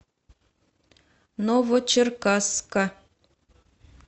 новочеркасска